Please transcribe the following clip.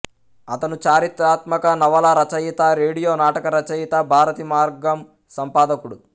అతను చారిత్రాత్మక నవలా రచయిత రేడియో నాటక రచయిత భారతీ మార్గం సంపాదకుడు